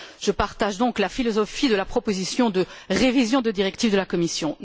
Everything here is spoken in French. Je partage donc la philosophie de la proposition de révision de directive de la Commission.